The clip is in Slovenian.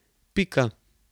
Pika.